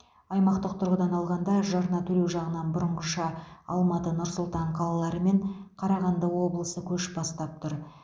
аймақтық тұрғыдан алғанда жарна төлеу жағынан бұрынғыша алматы нұр сұлтан қалалары мен қарағанды облысы көш бастап тұр